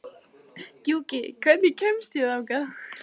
Gjúki, hvernig kemst ég þangað?